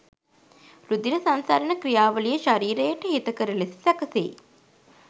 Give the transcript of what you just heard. රුධිර සංසරණ ක්‍රියාවලිය ශරීරයට හිතකර ලෙස සැකසෙයි.